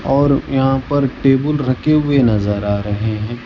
और यहां पर टेबल रखे हुए नजर आ रहे हैं।